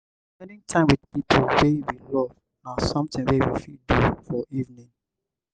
spending time with pipo wey we love na something wey we fit do for evening